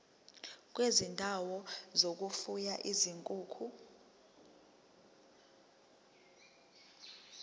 kwezindawo zokufuya izinkukhu